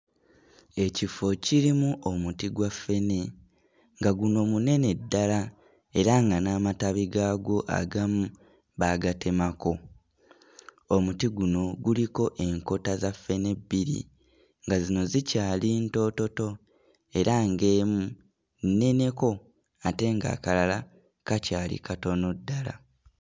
Ekifo kirimu omuti gwa ffene nga guno munene ddala era nga n'amatabi gaagwo agamu baagatemako. Omuti guno guliko enkota za ffene bbiri nga zino zikyali ntoototo era ng'emu nneneko ate ng'akalala kakyali katono ddala.